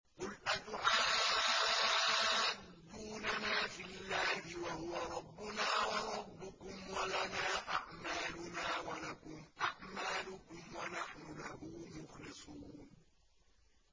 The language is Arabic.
قُلْ أَتُحَاجُّونَنَا فِي اللَّهِ وَهُوَ رَبُّنَا وَرَبُّكُمْ وَلَنَا أَعْمَالُنَا وَلَكُمْ أَعْمَالُكُمْ وَنَحْنُ لَهُ مُخْلِصُونَ